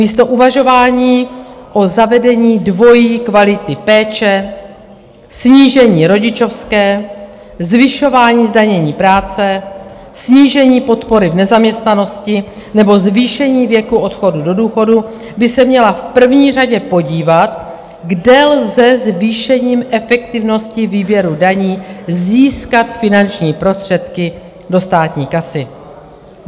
Místo uvažování o zavedení dvojí kvality péče, snížení rodičovské, zvyšování zdanění práce, snížení podpory v nezaměstnanosti nebo zvýšení věku odchodu do důchodu by se měla v první řadě podívat, kde lze zvýšením efektivnosti výběru daní získat finanční prostředky do státní kasy.